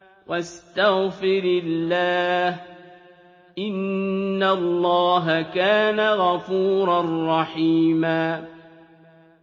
وَاسْتَغْفِرِ اللَّهَ ۖ إِنَّ اللَّهَ كَانَ غَفُورًا رَّحِيمًا